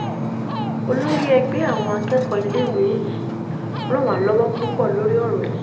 olórí ẹgbẹ́ àwọn akẹ́kọ̀ọ́ iléèwé yìí ràn wá lọ́wọ́ púpọ̀ lórí ọ̀rọ̀ yìí